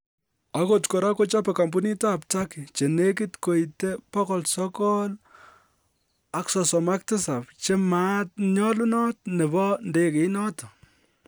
Agot kora kochobe kampunit ab Turkey che negit koite 937 che maat nenyolunot nebo ndegeit noton